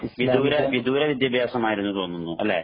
വിദൂര വിദൂര വിദ്യാഭ്യാസമായിരുന്നു എന്ന് തോന്നുന്നു അല്ലെ?